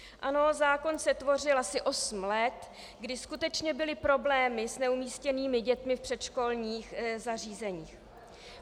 Ano, zákon se tvořil asi osm let, kdy skutečně byly problémy s neumístěnými dětmi v předškolních zařízeních.